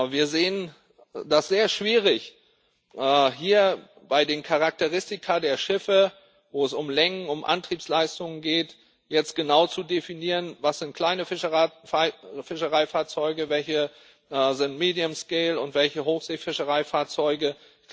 Wir sehen das als sehr schwierig, hier bei den Charakteristika der Schiffe, wo es um Längen, um Antriebsleistung geht, jetzt genau zu definieren, was kleine Fischereifahrzeuge sind, welche medium scale und welche Hochseefischereifahrzeuge sind.